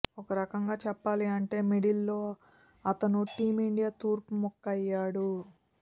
ఒకరకంగా చెప్పాలి అంటే మిడిల్ లో అతను టీం ఇండియా తూర్పు ముక్క అయ్యాడు